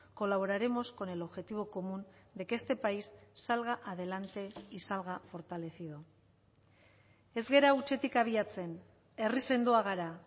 colaboraremos con el objetivo común de que este país salga adelante y salga fortalecido ez gara hutsetik abiatzen herri sendoa gara